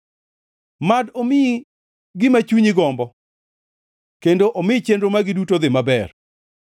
Mad omiyi gima chunyi gombo kendo omi chenro magi duto odhi maber.